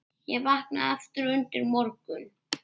Ég vaknaði aftur undir morgun.